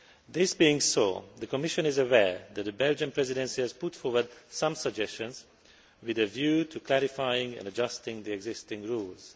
This being so, the Commission is aware that the Belgian Presidency has put forward some suggestions with a view to clarifying and adjusting the existing rules.